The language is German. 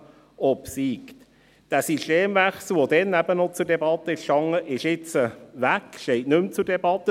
Der Systemwechsel, der damals noch zur Debatte stand, ist nun weg, steht nicht mehr zur Debatte.